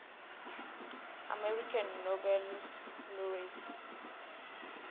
american nobel laureates